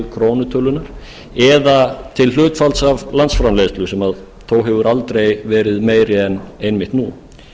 er til krónutölunnar eða til hlutfalls af landsframleiðslu sem þó hefur aldrei verið meiri en einmitt nú